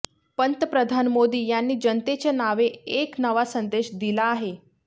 पंतप्रधान मोदी यांनी जनतेच्या नावे एक नवा संदेश दिला आहे